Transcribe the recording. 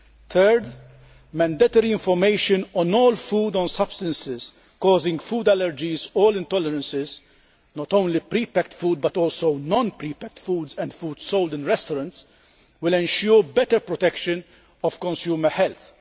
Third, mandatory information on all food on substances causing food allergies or intolerances not only pre packed foods but also non pre packed foods and foods sold in restaurants will ensure better protection of consumer health.